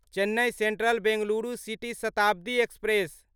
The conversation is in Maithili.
Chennai central Bengaluru city Shatabdi express